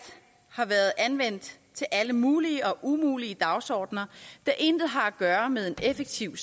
har været anvendt til alle mulige og umulige dagsordener der intet har at gøre med en effektiv